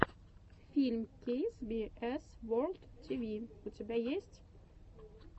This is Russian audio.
фильм кей би эс ворлд ти ви у тебя есть